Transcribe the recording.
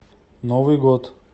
новый год